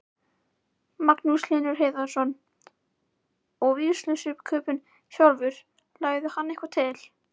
Magnús Hlynur Hreiðarsson: Og vígslubiskupinn sjálfur, lagði hann eitthvað til?